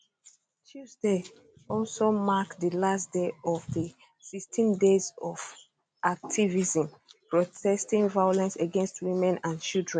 tuesday also mark di last day of di 16 days of activism protesting violence against women and children